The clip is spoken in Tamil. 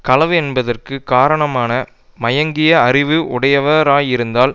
களவு என்பதற்கு காரணமான மயங்கிய அறிவு உடையவராயிருத்தல்